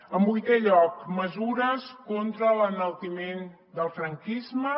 en vuitè lloc mesures contra l’enaltiment del franquisme